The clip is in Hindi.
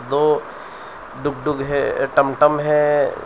दो डुगडुग है टमटम है।